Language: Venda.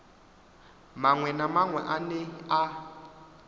maṅwe na maṅwe ane a